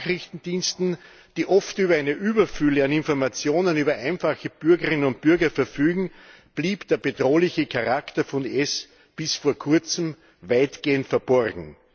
Den Nachrichtendiensten, die oft über eine Überfülle an Informationen über einfache Bürgerinnen und Bürger verfügen blieb der bedrohliche Charakter von IS bis vor kurzem weitgehend verborgen.